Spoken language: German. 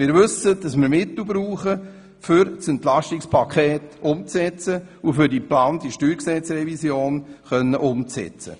Wir wissen, dass wir Mittel brauchen, um das Entlastungspaket umzusetzen und um die geplante Steuergesetzrevision umzusetzen.